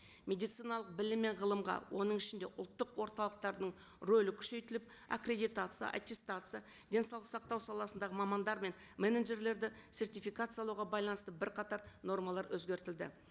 медициналық білім мен ғылымға оның ішінде ұлттық орталықтарының рөлі күшейтіліп аккредитация аттестация денсаулық сақтау саласындағы мамандар мен менеджерлерді сертификациялауға байланысты бірқатар нормалар өзгертілді